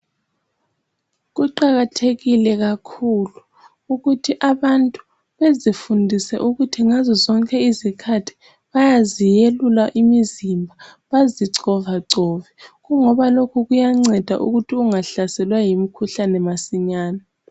Kuqakathekile kakhulu ukuthi abantu bezifundise ngazozonke izikhathi bayaziyelula imizimba bazi covacove kungoba lokhu kuyanceda ukuthi ungahlaselwa yimikhuhlane masinyane.